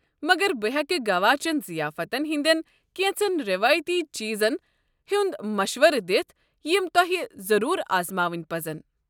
مگر بہٕ ہیٚکہٕ گوا چین ضِیافتن ہنٛدٮ۪ن كینژن ریوایتی چیٖزن ہنٛد مشورٕ دِتھ یِم تۄہہِ ضروٗر آزماوٕنۍ پزن۔